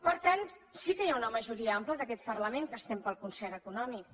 per tant sí que hi ha una majoria ampla d’aquest parlament que estem pel concert econòmic